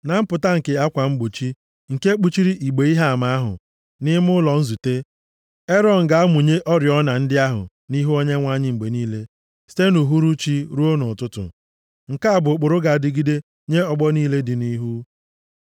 Na mpụta nke akwa mgbochi nke kpuchiri igbe Ihe Ama ahụ, nʼime ụlọ nzute, Erọn ga-amụnye oriọna ndị ahụ nʼihu Onyenwe anyị mgbe niile, site nʼuhuruchi ruo nʼụtụtụ. Nke a bụ ụkpụrụ ga-adịgide nye ọgbọ niile dị nʼihu.